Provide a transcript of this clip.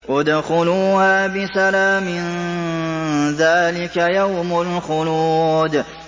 ادْخُلُوهَا بِسَلَامٍ ۖ ذَٰلِكَ يَوْمُ الْخُلُودِ